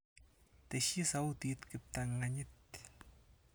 Tesyi sautit kiptang'anyit.